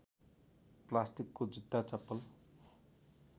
प्लास्टिकको जुत्ता चप्पल